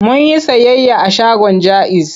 Mun yi sayayya a shagon Jaiz.